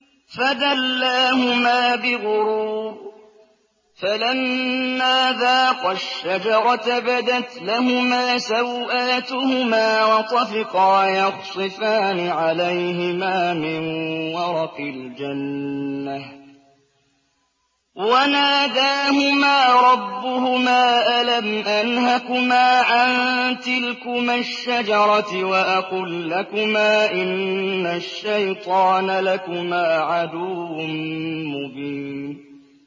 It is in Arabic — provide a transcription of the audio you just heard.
فَدَلَّاهُمَا بِغُرُورٍ ۚ فَلَمَّا ذَاقَا الشَّجَرَةَ بَدَتْ لَهُمَا سَوْآتُهُمَا وَطَفِقَا يَخْصِفَانِ عَلَيْهِمَا مِن وَرَقِ الْجَنَّةِ ۖ وَنَادَاهُمَا رَبُّهُمَا أَلَمْ أَنْهَكُمَا عَن تِلْكُمَا الشَّجَرَةِ وَأَقُل لَّكُمَا إِنَّ الشَّيْطَانَ لَكُمَا عَدُوٌّ مُّبِينٌ